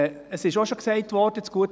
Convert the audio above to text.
» Es wurde auch schon gesagt: